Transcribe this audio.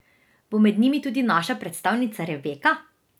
Bo med njimi tudi naša predstavnica Rebeka?